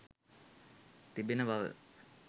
තිබෙන බව.